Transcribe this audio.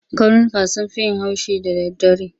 Karnuka sun fi yin haushi da daddare.